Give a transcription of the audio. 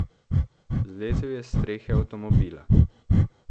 Zlezel je s strehe avtomobila.